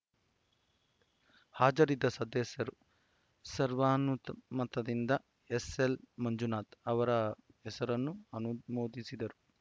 ಹಾಜರಿದ್ದ ಸದಸ್ಯರು ಸರ್ವಾನುತ್ ಮತದಿಂದ ಎಸ್‌ಎಲ್‌ ಮಂಜುನಾಥ್‌ ಅವರ ಹೆಸರನ್ನು ಅನುಮೋದಿಸಿದರು